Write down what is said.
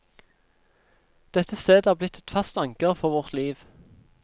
Dette stedet er blitt et fast anker for vårt liv.